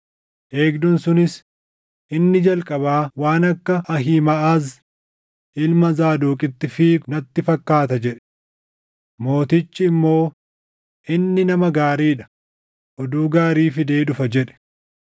Eegduun sunis, “Inni jalqabaa waan akka Ahiimaʼaz ilma Zaadoqitti fiigu natti fakkaata” jedhe. Mootichi immoo, “Inni nama gaarii dha; oduu gaarii fidee dhufa” jedhe.